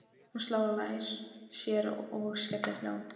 Hún sló á lær sér og skellihló.